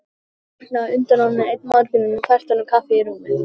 Hún hafði vaknað á undan honum einn morguninn og fært honum kaffi í rúmið.